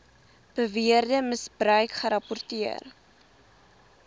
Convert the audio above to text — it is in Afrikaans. beweerde misbruik gerapporteer